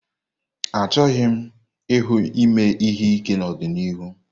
Achọghị m ịhụ ime ihe ike n'ọdịniihu